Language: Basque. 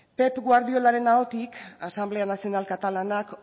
pep guardiolaren ahotik asamblea nacional katalanak